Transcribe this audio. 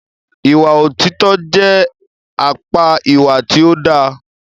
Ìwà òtítọ jẹ àpá ìwà tí o dá.